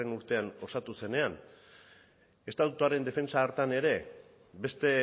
urtean osatu zenean estatutuaren defentsa hartan ere beste